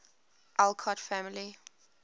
alcott family